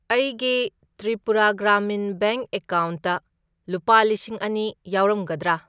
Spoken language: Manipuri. ꯑꯩꯒꯤ ꯇ꯭ꯔꯤꯄꯨꯔꯥ ꯒ꯭ꯔꯥꯃꯤꯟ ꯕꯦꯡꯛ ꯑꯦꯀꯥꯎꯟꯠꯇ ꯂꯨꯄꯥ ꯂꯤꯁꯤꯡ ꯑꯅꯤ ꯌꯥꯎꯔꯝꯒꯗ꯭ꯔꯥ?